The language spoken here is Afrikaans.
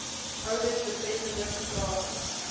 oudit betreffende vertragings